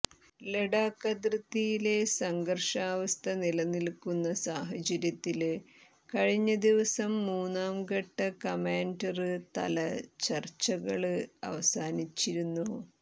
ലഡാക്ക് അതിര്ത്തിയിലെ സംഘര്ഷാവസ്ഥ നിലനില്ക്കുന്ന സാഹചര്യത്തില് കഴിഞ്ഞ ദിവസം മൂന്നാം ഘട്ട കമാന്ഡര് തല ചര്ച്ചകള് അവസാനിച്ചിരുന്നു